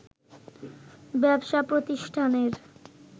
ব্যবসাপ্রতিষ্ঠানের